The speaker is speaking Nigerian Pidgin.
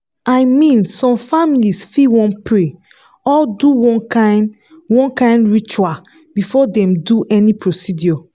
i mean some families fit wan pray or do one kind one kind ritual before dem do any procedure.